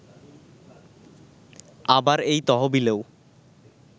আবার এই তহবিলেও